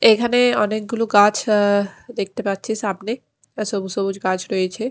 এখানে অনেকগুলো গাছ অ্যা দেখতে পাচ্ছি সামনে সবুজ সবুজ গাছ রয়েছে।